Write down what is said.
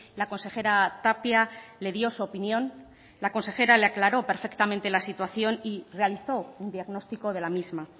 la consejera tapia le dio su opinión la consejera le aclaró perfectamente la situación y realizó un diagnóstico de la misma